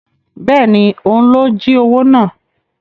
Bẹ́ẹ̀ni, òun ló jí owó náà